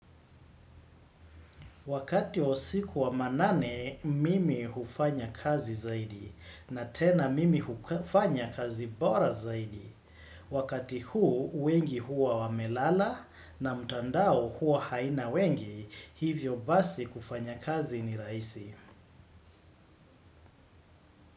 Wakati wa usiku wa manane, mimi hufanya kazi zaidi na tena mimi hufanya kazi bora zaidi. Wakati huu, wengi huwa wamelala na mtandao hua haina wengi, hivyo basi kufanya kazi ni raisi.